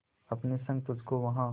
अपने संग तुझको वहां